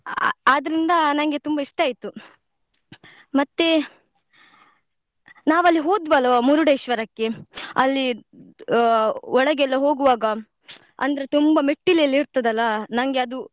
ಆದ್ರಿಂದ ನಂಗೆ ತುಂಬಾ ಇಷ್ಟ ಆಯ್ತು ಮತ್ತೇ ನಾವಲ್ಲಿ ಹೊದ್ವಲ್ವ Murdeshwar ಕ್ಕೆ ಅಲ್ಲಿ ಒಳಗೆಲ್ಲ ಹೋಗುವಾಗ ಅಂದ್ರೆ ತುಂಬಾ ಮೆಟ್ಟಿಲೆಲ್ಲ ಇರ್ತದಲ್ಲ ನಂಗೆ ಅದು.